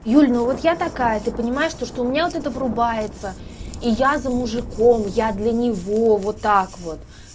юль ну вот я такая ты понимаешь то что у меня вот эта врубается и я за мужиком я для него вот так вот